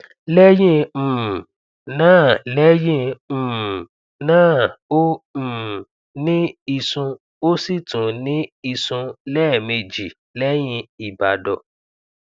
lẹyìn um náà lẹyìn um náà ó um ní ìsùn ó sì tún ní ìsùn lẹẹmeji lẹhìn ìbàdọ